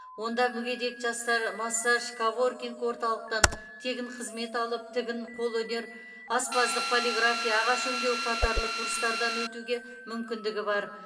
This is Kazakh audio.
онда мүгедек жастар массаж коворкинг орталықтан тегін қызмет алып тігін қолөнер аспаздық полиграфия ағаш өңдеу қатарлы курстардан өтуге мүмкіндігі бар